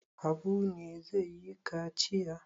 Habu ne zai yi kaciya?